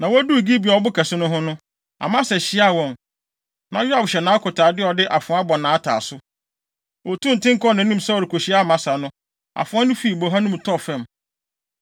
Na woduu Gibeon ɔbo kɛse no ho no, Amasa hyiaa wɔn. Na Yoab hyɛ nʼakotade a ɔde afoa abɔ nʼataaso. Otuu nten kɔɔ nʼanim sɛ ɔrekokyia Amasa no, afoa no fii boha no mu tɔɔ fam.